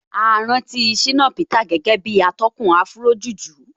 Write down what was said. A rántí Shina Peter gẹ́gẹ́ bí atọ́kùn Afrojuju